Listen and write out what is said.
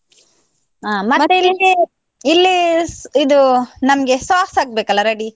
ಹಾ ಇಲ್ಲಿ ಇದು ನಮ್ಗೆ sauce ಆಗ್ಬೇಕಲ್ಲ ready .